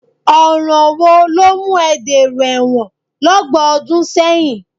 Ọ̀ràn wo ló mú ẹ dèrò ẹ̀wọ̀n lọ́gbọ̀n ọdún sẹ́yìn?